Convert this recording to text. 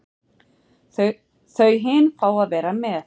Þau hin fá að vera með.